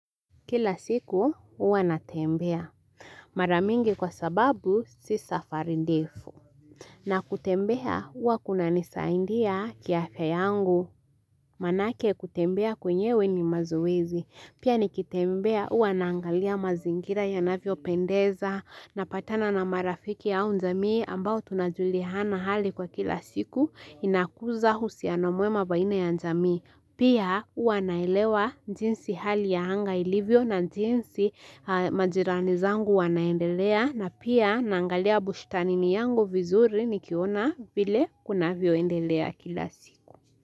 Kila siku hua natembea Mara mingi kwa sababu si safari ndefu na kutembea hua kuna nisaidia kiafya yangu Manake kutembea kwenyewe ni mazoezi Pia nikitembea hua naangalia mazingira yanavyopendeza Napatana na marafiki au jamii ambao tunajuliana hali kwa kila siku inakuza uhusiano mwema baina ya jamii Pia huwa naelewa jinsi hali ya anga ilivyo na jinsi majirani zangu wanaendelea na pia nangalia bushtanini yangu vizuri nikiona vile kunavyoendelea kila siku.